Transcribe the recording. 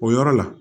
O yɔrɔ la